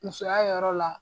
Musoya yɔrɔ la